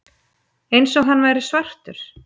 Eins og hann væri svartur.